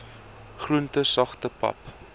groente sagte pap